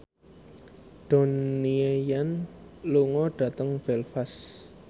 Donnie Yan lunga dhateng Belfast